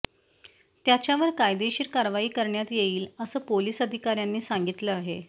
त्याच्यावर कायदेशीर कारवाई करण्यात येईल असं पोलीस अधिकाऱ्यांनी सांगितलं आहे